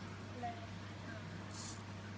Laun hans?